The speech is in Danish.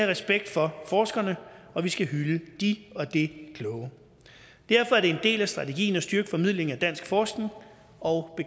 respekt for forskerne og vi skal hylde de og det kloge derfor er det en del af strategien at styrke formidlingen af dansk forskning og